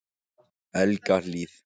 Helgahlíð